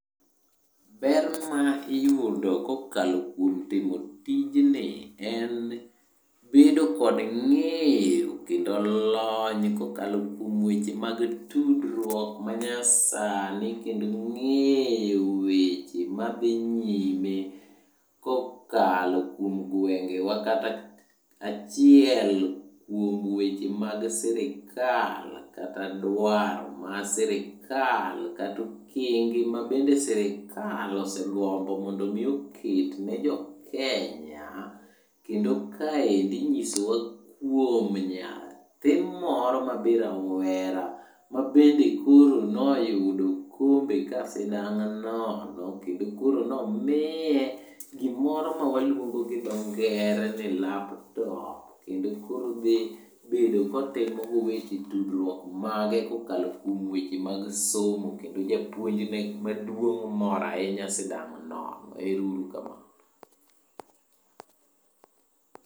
Ber ma iyudo kokalo kuom timo tijni, en bedo kod ng'eyo kendo lony kokalo kuom weche mag tudruok manyasani kendo ng'eyo weche madhi nyime kokalo kuom gwengewa kata achiel kuom weche mag sirikal kata dwaro ma sirikal kata okenge mabende sirikal osegombo mondo omi oketne jokenya. Kendo kaendi inyisowa kuom nyathi moro mabe rawera, mabende koro noyudo okombe ka sidang' nono kendo koro nomiye gimoro mawaluongo gi dho ngere ni laptop. Kendo koro odhi bedo kotimo go weche tudruok mage kokalo kuom weche mag somo kendo japuonjne maduong' moro ahinya sidang' nono, ero uru kamano.